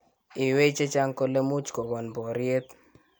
iywei chechang kole much kokon poryet